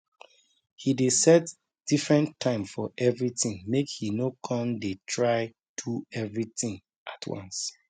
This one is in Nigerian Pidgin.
he dey set different time for everything make he no con dey try do everyhting at once